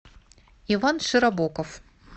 иван широбоков